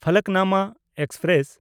Falaknuma express